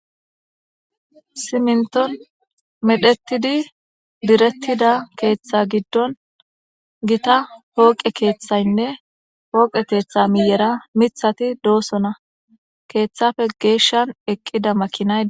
Siminton medhetidi diretida ketha gidon gita poqe kethaynne poqe ketha miyera mithati dosona kethappe geshan eqida makinay